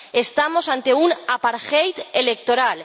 Estamos ante un apartheid electoral